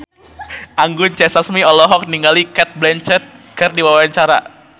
Anggun C. Sasmi olohok ningali Cate Blanchett keur diwawancara